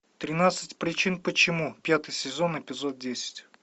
тринадцать причин почему пятый сезон эпизод десять